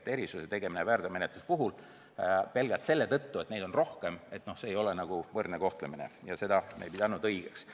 Erisuse tegemine väärteomenetluste puhul pelgalt selle tõttu, et neid on rohkem, ei ole võrdne kohtlemine ja seda me ei pidanud õigeks.